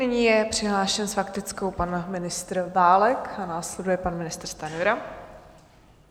Nyní je přihlášen s faktickou pan ministr Válek a následuje pan ministr Stanjura.